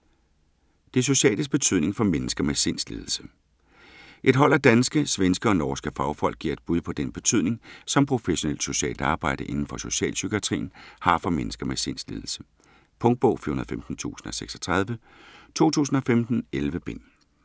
Det sociales betydning for mennesker med sindslidelse Et hold af danske, svenske og norske fagfolk giver et bud på den betydning, som professionelt socialt arbejde inden for socialpsykiatrien, har for mennesker med sindslidelse. Punktbog 415036 2015. 11 bind.